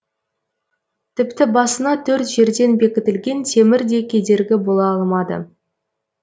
тіпті басына төрт жерден бекітілген темір де кедергі бола алмады